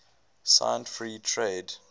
signed free trade